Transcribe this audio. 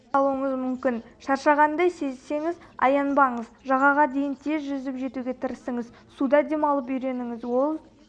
қалуыңыз мүмкін шаршағанды сезсеңіз аянбаңыз жағаға дейін тез жүзіп жетуге тырысыңыз суда демалып үйреніңіз ол